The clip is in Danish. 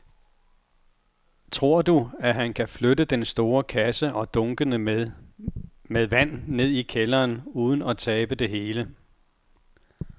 Tror du, at han kan flytte den store kasse og dunkene med vand ned i kælderen uden at tabe det hele?